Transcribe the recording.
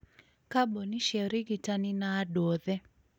kambuni cia ũrigitani, na andũ othe.